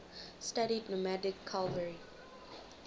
studied nomadic cavalry